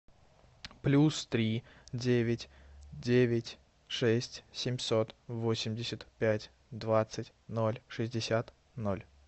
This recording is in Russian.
плюс три девять девять шесть семьсот восемьдесят пять двадцать ноль шестьдесят ноль